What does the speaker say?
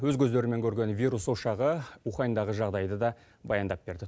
өз көздерімен көрген вирус ошағы уханьдағы жағдайды да баяндап берді